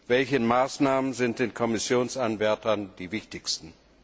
Welche Maßnahmen sind den Kommissionsanwärtern am wichtigsten?